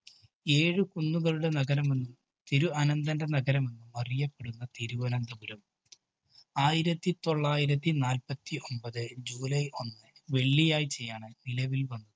ഏഴ് കുന്നുകളുടെ നഗരമെന്നും, തിരു അനന്തന്‍ന്റെ നഗരമെന്നും അറിയപ്പെടുന്ന തിരുവനന്തപുരം, ആയിരത്തിതൊള്ളായിരത്തി നാല്പത്തിഒമ്പത് july ഒന്നിന് വെള്ളിയാഴ്ചയാണ് നിലവില്‍ വന്നത്.